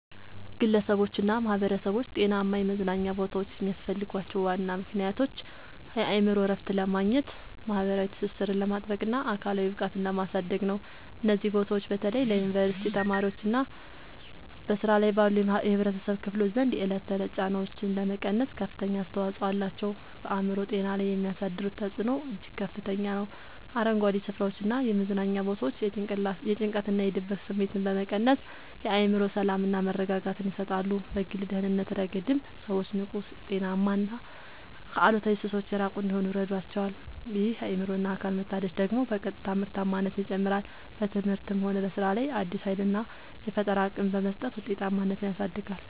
ግለሰቦችና ማኅበረሰቦች ጤናማ የመዝናኛ ቦታዎች የሚያስፈልጓቸው ዋና ምክንያቶች የአእምሮ እረፍት ለማግኘት፣ ማኅበራዊ ትስስርን ለማጥበቅና አካላዊ ብቃትን ለማሳደግ ነው። እነዚህ ቦታዎች በተለይ በዩኒቨርሲቲ ተማሪዎችና በሥራ ላይ ባሉ የኅብረተሰብ ክፍሎች ዘንድ የዕለት ተዕለት ጫናዎችን ለመቀነስ ከፍተኛ አስተዋጽኦ አላቸው። በአእምሮ ጤና ላይ የሚያሳድሩት ተጽዕኖ እጅግ ከፍተኛ ነው፤ አረንጓዴ ስፍራዎችና የመዝናኛ ቦታዎች የጭንቀትና የድብርት ስሜትን በመቀነስ የአእምሮ ሰላምና መረጋጋትን ይሰጣሉ። በግል ደህንነት ረገድም ሰዎች ንቁ: ጤናማና ከአሉታዊ ሱሶች የራቁ እንዲሆኑ ይረዳቸዋል። ይህ የአእምሮና አካል መታደስ ደግሞ በቀጥታ ምርታማነትን ይጨምራል: በትምህርትም ሆነ በሥራ ላይ አዲስ ኃይልና የፈጠራ አቅም በመስጠት ውጤታማነትን ያሳድጋል።